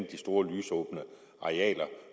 de store lysåbne arealer